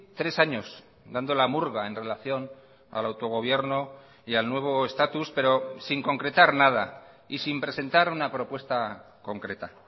tres años dando la murga en relación al autogobierno y al nuevo estatus pero sin concretar nada y sin presentar una propuesta concreta